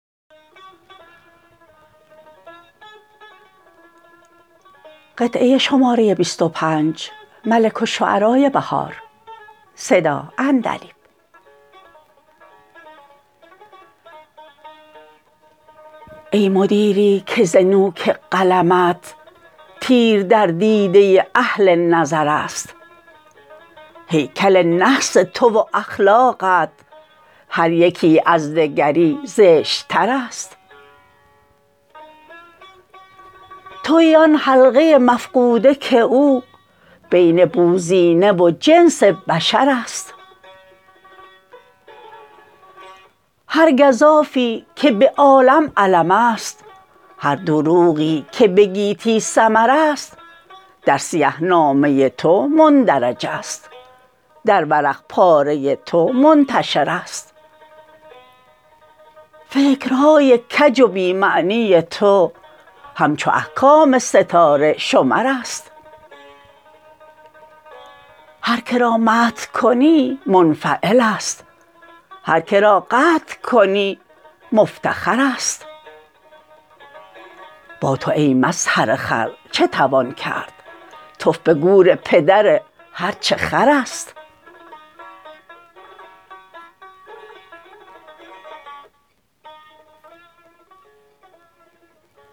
ای مدیری که ز نوک قلمت تیر در دیده اهل نظرست هیکل نحس تو و اخلاقت هر یکی از دگری زشت ترست تویی آن حلقه مفقوده که او بین بوزینه و جنس بشرست هر گزافی که به عالم علمست هر دروغی که به گیتی سمرست در سیه نامه تو مندرجست در ورق پاره تو منتشرست فکرهای کج و بی معنی تو همچو احکام ستاره شمرست هرکه را مدح کنی منفعلست هرکه را قدح کنی مفتخرست با تو ای مظهر خر چه توان کرد تف به گور پدر هرچه خرست